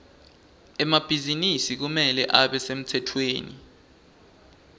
emabhizinisi kumele abe semtsetfweni